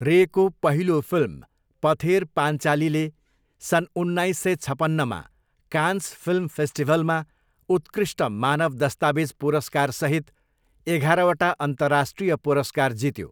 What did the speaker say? रेको पहिलो फिल्म पथेर पान्चालीले सन् उन्नाइस सय छपन्नमा कान्स फिल्म फेस्टिभलमा उत्कृष्ट मानव दस्तावेज पुरस्कारसहित एघारवटा अन्तर्राष्ट्रिय पुरस्कार जित्यो।